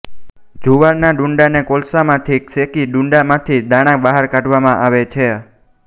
જુવારના ડૂંડાને કોલસામાં શેકી ડૂંડામાંથી દાણા બહાર કાઢવામાં આવે છે